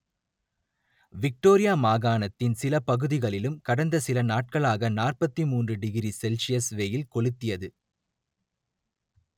Victoria மாகாணத்தின் சில பகுதிகளிலும் கடந்த சில நாட்களாக நாற்பத்தி மூன்று டிகிரி செல்சியஸ் வெயில் கொளுத்தியது